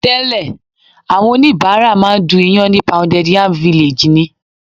Tẹ́lẹ̀ àwọn oníbàárà máa ń du ìyàn ní Pounded Yam Village ni.